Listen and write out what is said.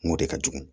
N ko de ka jugu